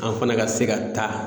An fana ka se ka taa